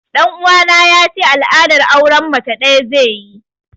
Ɗan uwana ya ce al'adar auren mace ɗaya zai yi